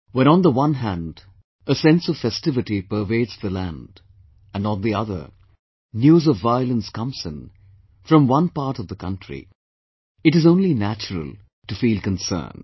When on the one hand, a sense of festivity pervades the land, and on the other, news of violence comes in, from one part of the country, it is only natural of be concerned